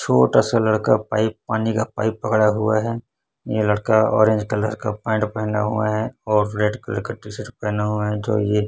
छोटा सा लड़का पाइप पानी का पाइप पकड़ा हुआ है ये लड़का ऑरेंज कलर का पेंट पहना हुआ है और रेड कलर का टी शर्ट पहना हुआ है जो ये--